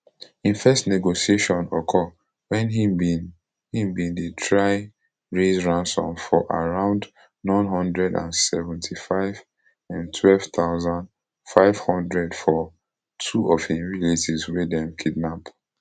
im first negotiation occur wen im bin im bin dey try raise ransom of around n one hundred and seventy-fivem twelve thousand, five hundred for two of im relatives wey dem kidnap